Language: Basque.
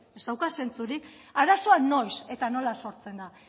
ez dauka zentzurik arazoa noiz eta nola sortzen da